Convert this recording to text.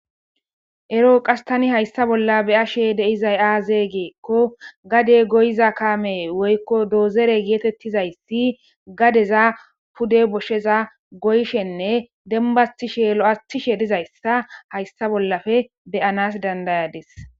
Ero qastani haysta bolla be ashe deizay aazee geekko gade goyiza kaame woykko doozere geetettizayssi gadeza pude boshsheza goyshenne dembastishe lo'asthishe dizayssa haysta bollafe beyanas dandayades